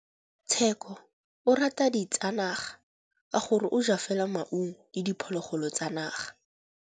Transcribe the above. Tshekô o rata ditsanaga ka gore o ja fela maungo le diphologolo tsa naga.